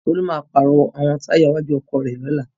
Tolú máa pàrọ̀ àwọn táyà iwájú ọkọ̀ rẹ̀ lọ́la.